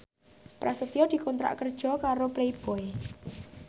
Prasetyo dikontrak kerja karo Playboy